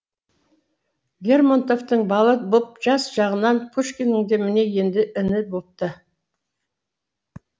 лермонтовың бала боп жас жағынан пушкинің де міне енді іні бопты